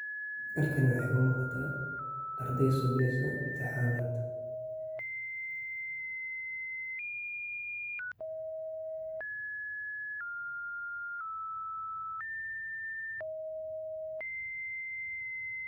Dugsiyada kala-guurka, waa xarumo waxbarasho oo muhiimad gaar ah leh kuwaas oo loogu talagalay carruurta aan horey u helin waxbarasho rasmi ah, kuwa ku dhacay xaalado adag sida barakacnimo, saboolnimo, ama colaado.